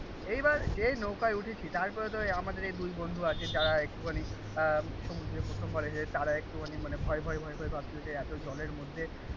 এইবার যেই নৌকায় উঠেছি তারপরে তো আমাদের এই দুই বন্ধু আছে যারা একটুখানি আহ প্রথমবার এসেছে তারা একটুখানি মানে ভয় ভয় পাচ্ছিলো যে জলের মধ্যে